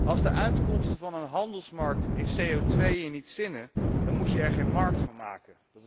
Als de uitkomsten van een handelsmarkt in CO2 je niet zinnen, dan moet je er geen markt van maken.